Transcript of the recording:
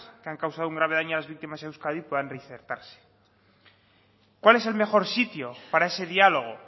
que han causado un grave daño a las víctimas en euskadi puedan reinsertarse cuál es el mejor sitio para ese diálogo